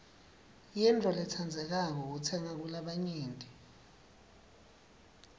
yintfo lentsandzekako kutsenga kulabanyenti